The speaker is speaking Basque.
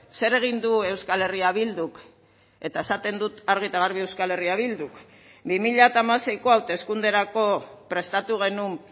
zer egin du euskal herria bilduk eta esaten dut argi eta garbi euskal herria bilduk bi mila hamaseiko hauteskunderako prestatu genuen